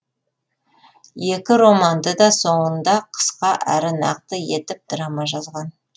екі романды да соңында қысқа әрі нақты етіп драма жазған